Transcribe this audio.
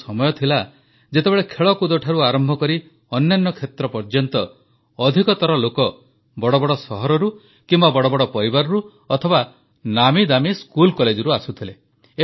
ଗୋଟିଏ ସମୟ ଥିଲା ଯେତେବେଳେ ଖେଳକୁଦଠାରୁ ଆରମ୍ଭକରି ଅନ୍ୟାନ୍ୟ କ୍ଷେତ୍ର ପର୍ଯ୍ୟନ୍ତ ଅଧିକତର ଲୋକ ବଡ଼ ବଡ଼ ସହରରୁ କିମ୍ବା ବଡ଼ ବଡ଼ ପରିବାରରୁ ଅଥବା ନାମୀଦାମୀ ସ୍କୁଲ କଲେଜରୁ ଆସୁଥିଲେ